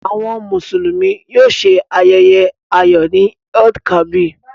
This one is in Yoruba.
Àwọn Mùsùlùmí yóò ṣe ayẹyẹ ayọ̀ ni Eid-el-Kabir.